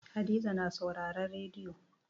Hadiza na sauraren rediyo.